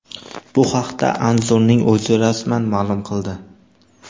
Bu haqda Anzurning o‘zi rasman ma’lum qildi .